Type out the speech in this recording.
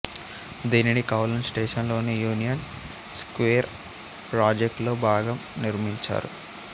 దీనిని Kowloon station లోని union square project లో భాగంగా నిర్మించారు